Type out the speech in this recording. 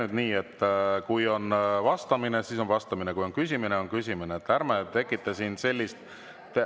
Teeme nüüd nii, et kui on vastamine, siis on vastamine, ja kui on küsimine, siis on küsimine.